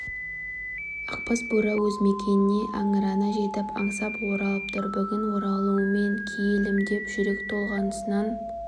ақбас бура өз мекеніне аңырана жетіп аңсап оралып тұр бүгін оралуыңмен киелім деп жүрек толғанысынан